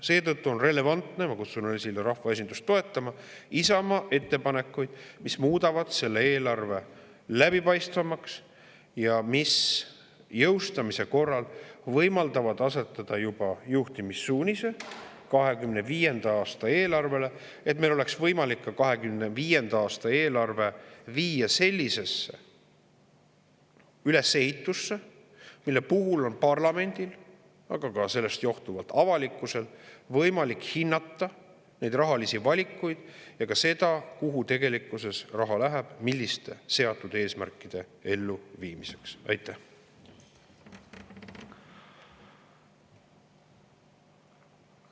Seetõttu on relevantsed Isamaa ettepanekud – ja ma kutsun rahvaesindust üles neid toetama –, mis muudavad selle eelarve läbipaistvamaks ja mis jõustamise korral võimaldavad asetada juhtimissuunise juba 2025. aasta eelarvele, nii et meil oleks võimalik ka 2025. aasta eelarve viia sellisesse ülesehitusse, mille puhul on parlamendil – aga sellest johtuvalt ka avalikkusel – võimalik hinnata rahalisi valikuid, samuti seda, kuhu raha tegelikult läheb, milliste seatud eesmärkide elluviimiseks see läheb.